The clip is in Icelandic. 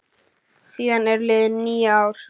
Síðan eru liðin níu ár.